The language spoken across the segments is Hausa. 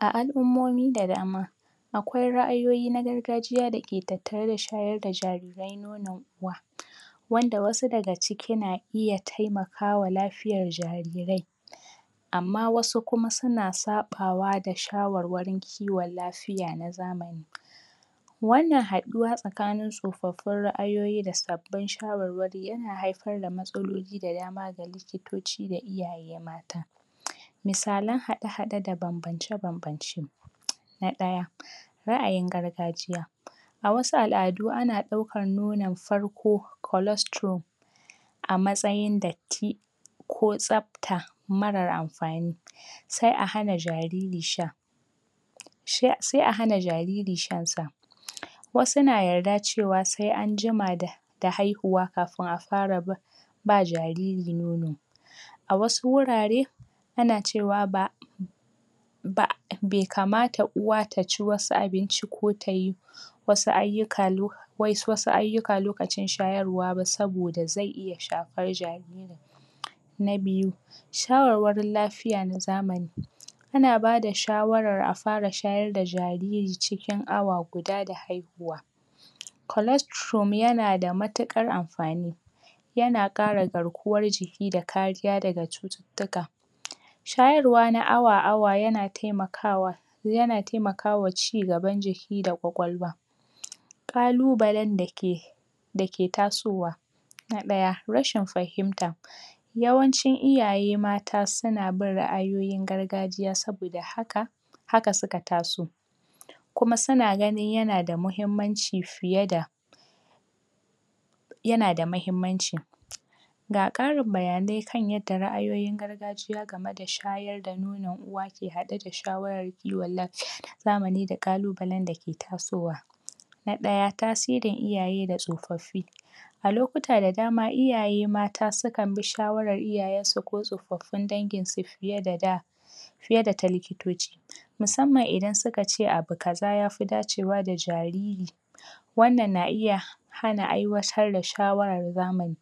A al'ummomi da dama akwai ra'ayoyi na gargajiya da ke tattareda shayarda jarirai wannan kuwa wanda wasu daga ciki na iya taimakawa lafiyar jarirai amma wasu kuma suna saɓawa da shawarwarin kiwon lafiya na zamani. Wannan haɗuwa tsakanin rufaffun ra'ayoyi da sabbin shawarwari yana haifar da matsaloli da dama da likitoci da iyaye mata misalan haɗe-haɗe da banbance banbance na ɗaya ra'ayin gargajiya a wasu al'adu ana ɗaukan nonon farko cholesterol a matsayin datti ko tsapta mara amfani sai a hana jariri sha se a hana jariri shan sa wasu na yarad ewa se an jima da da haihuwa kafin a fara ba ba jariri nono a wasu wurare ana cewa ba ba be kamata uwa taci wasu abinci ko tayi wasu ayyuka lo wai wasu ayyuka likac wai wasu ayyuka lokacin shayarwa ba sabida ze iya shafan jaririn, na biyu shawarwarin lafiya na zamani ana bada shawarar a fara shayarda jariri cikin awa guda da haihuwa cholestrum yana da matuƙar amfani yana ƙara garkuwar jiki da kariya daga cututtuka. Shayarwa na awa awa yana taimakawa yana taimakawa ci gaban jiki da kwakwalwa kalubalan da ke dake tasowa na ɗaya, rashin fahimta yawancin iaye mata suna bin ra'ayoyin gargajiya sabida haka haka suka taso kuma suna ganin yana da muhimmanci fiye da yana da mahimmanci Gga ƙarin bayanai akan yadda ra'ayoyin gargajiya ga ma da shayar da nonon uwa ke haɗe shawarar kiwon lafiya na zamani da ƙalubalan da ke tasowa na ɗaya tasirin iyaye da tsofaffi a lokuta da dama iyaye mata sukan bi shawarar iyayen su ko tsofaffin dangin su fiye da daa fiye da ta likitoci musamman idan suka ce abu kaza yafi dace wa da jariri wannan na iya hana aiwatar da shawarar zamani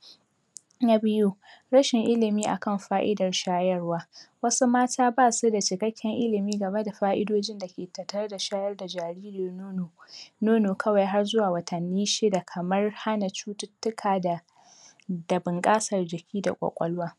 na biyu rashin ilimi akan fa'idar shayarwa wasu mata ba suda ikakken ilimi gama da a'idojin da ke tattareda shayarda jariri nono nono kawai har zuwa watanni shida kamar hana cututtuka da da bunƙasar jiki da kwakwalwa.